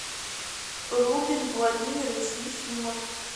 рубин владимирович ефимов